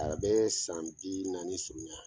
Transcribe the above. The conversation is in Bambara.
A bɛ san bi naani surunya!